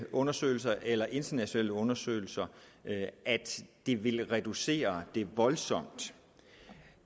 undersøgelser eller internationale undersøgelser at det vil reducere det voldsomt